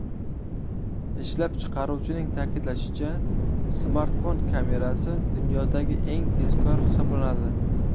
Ishlab chiqaruvchining ta’kidlashicha, smartfon kamerasi dunyodagi eng tezkor hisoblanadi.